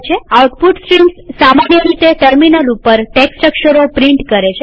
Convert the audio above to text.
output streams સામાન્ય રીતે terminal ઉપર ટેક્સ્ટ અક્ષરો પ્રિન્ટ કરે છે